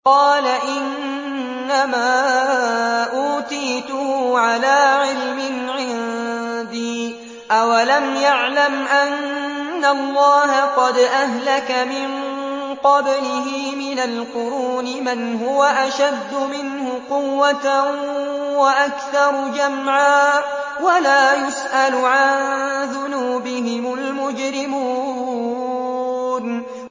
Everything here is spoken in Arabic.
قَالَ إِنَّمَا أُوتِيتُهُ عَلَىٰ عِلْمٍ عِندِي ۚ أَوَلَمْ يَعْلَمْ أَنَّ اللَّهَ قَدْ أَهْلَكَ مِن قَبْلِهِ مِنَ الْقُرُونِ مَنْ هُوَ أَشَدُّ مِنْهُ قُوَّةً وَأَكْثَرُ جَمْعًا ۚ وَلَا يُسْأَلُ عَن ذُنُوبِهِمُ الْمُجْرِمُونَ